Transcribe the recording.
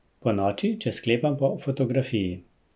Ponoči, če sklepam po fotografiji.